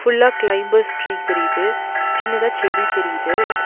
ஃபுல்லா climbers tree தெரியிது. சின்னதா செடி தெரியிது.